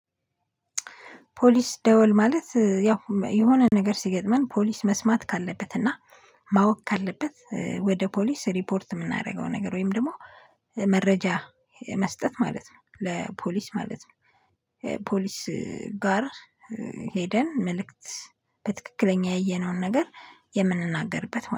ፖሊስ ደወል ማለት ያው የሆነ ነገር ሲገጥመን ፖሊስ መስማት ካለበት እና ማወቅ ካለበት ወደ ፖሊስ ሪፖርት የምናደርገው ነገር ወይም ደግሞ መረጃ መስጠት ማለት ነው ለፖሊስ ማለት ነው። ፖሊስ ጋር ሄደን መልእክት በትክክለኛ ያየነውን ነገር የምንናገርበት